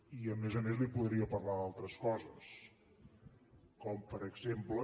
i a més a més li podria parlar d’altres coses com per exemple